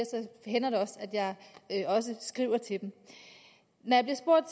hænder det også at skriver til dem når jeg bliver spurgt